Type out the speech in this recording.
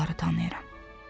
Onları tanıyıram.